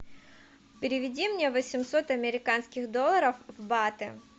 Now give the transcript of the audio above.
переведи мне восемьсот американских долларов в баты